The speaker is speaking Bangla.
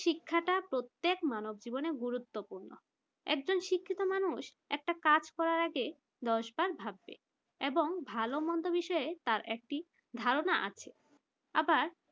শিক্ষাটা প্রত্যেক মানব জীবনে গুরুত্বপূর্ণ একটা শিক্ষিত মানুষ একটা কাজ করার আগে দশবার ভাববে এবং ভালো মন্দ বিষয়ে তার একটি ধারণা আছে আবার